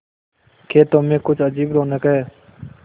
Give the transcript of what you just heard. खेतों में कुछ अजीब रौनक है